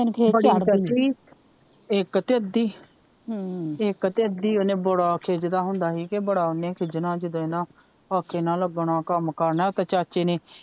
ਏਨੁ ਖੀਜ ਚੜਦੀ ਇੱਕ ਤੇ ਅੱਧੀ ਇੱਕ ਤੇ ਅੱਧੀ ਏਨੇ ਬੜਾ ਖਿਜਦਾ ਹੁੰਦਾ ਸੀ ਬੜਾ ਏਨੇ ਖਿਜਣਾ ਜਦੋਂ ਇਨਾਂ ਆਖੇ ਨਾ ਲੱਗਣਾ ਕਮ ਕਰਨਾ ਤਾਂ ਚਾਚੇ ਨੇ